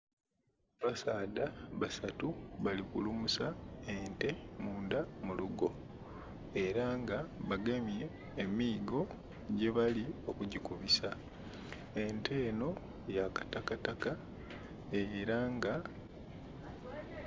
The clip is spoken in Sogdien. Abasaadha basatu bali kulumusa ente mulugo era nga bagemye emigo gye bali oku gikubisa, ente enho ya kitakataka era nga......